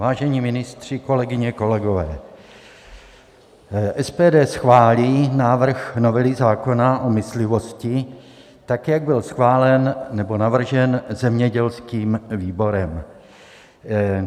Vážení ministři, kolegyně, kolegové, SPD schválí návrh novely zákona o myslivosti tak, jak byl schválen nebo navržen zemědělským výborem.